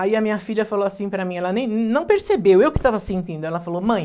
Aí a minha filha falou assim para mim, ela nem não percebeu, eu que estava sentindo, ela falou, mãe...